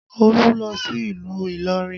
Olu lọ sí ìlú Ilorin